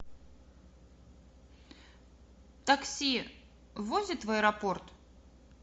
такси возит в аэропорт